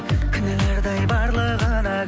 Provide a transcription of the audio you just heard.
кінәлардай барлығына